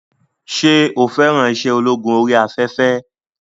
Ṣé o fẹ́ràn iṣẹ́ ológun orí afẹ́fẹ́?